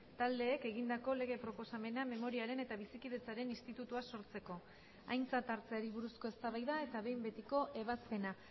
taldeek egindako lege proposamena memoriaren eta bizikidetzaren institutua sortzeko aintzat hartzeari buruzko eztabaida eta behin betiko ebazpena